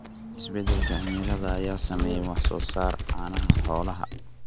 Isbeddelka cimilada ayaa saameeyay wax soo saarka caanaha xoolaha.